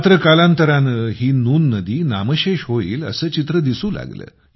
मात्र कालांतराने ही नून नदी नामशेष होईल असे चित्र दिसू लागले